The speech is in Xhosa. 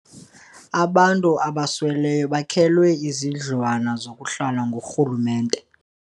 Abantu abasweleyo bakhelwe izindlwana zokuhlala ngurhulumente.